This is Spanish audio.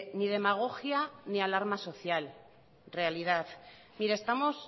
ni demagogia ni alarma social realidad mire estamos